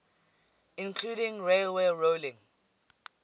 including railway rolling